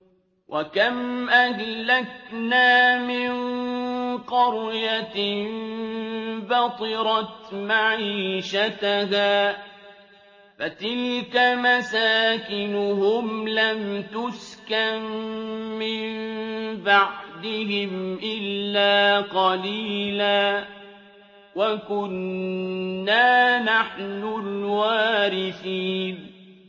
وَكَمْ أَهْلَكْنَا مِن قَرْيَةٍ بَطِرَتْ مَعِيشَتَهَا ۖ فَتِلْكَ مَسَاكِنُهُمْ لَمْ تُسْكَن مِّن بَعْدِهِمْ إِلَّا قَلِيلًا ۖ وَكُنَّا نَحْنُ الْوَارِثِينَ